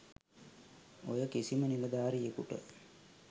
ඔය කිසිම නිලධාරියෙකුට